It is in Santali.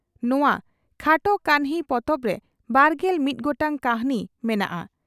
ᱱᱚᱣᱟ ᱠᱷᱟᱴᱚ ᱠᱟᱹᱦᱱᱤ ᱯᱚᱛᱚᱵᱨᱮ ᱵᱟᱨᱜᱮᱞ ᱢᱤᱛ ᱜᱚᱴᱟᱝ ᱠᱟᱹᱦᱱᱤ ᱢᱮᱱᱟᱜᱼᱟ ᱾